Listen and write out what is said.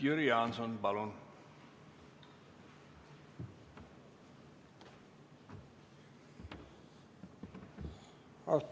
Jüri Jaanson, palun!